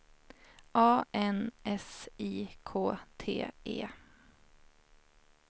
A N S I K T E